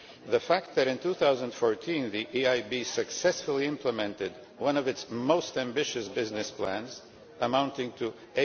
The fact that in 2014 the EIB successfully implemented one of its most ambitious business plans, amounting to EUR